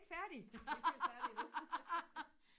vi er ikke færdige endnu